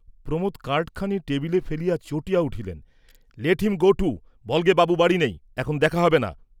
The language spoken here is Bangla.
প্রমোদ কার্ডথানি টেবিলে ফেলিয়া চটিয়া উঠিলেন, লেট হিম গো টু, বল্‌গে বাবু বাড়ী নেই, এখন দেখা হবে না।